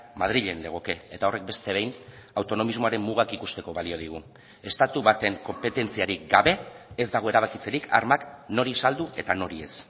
madrilen legoke eta horrek beste behin autonomismoaren mugak ikusteko balio digu estatu baten konpetentziarik gabe ez dago erabakitzerik armak nori saldu eta nori ez